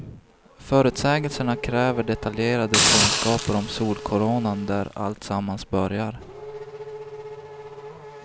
Förutsägelserna kräver detaljerade kunskaper om solkoronan där alltsammans börjar.